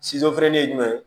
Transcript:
feere ye jumɛn ye